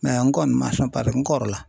n kɔni man sɔn paseke n kɔrɔla.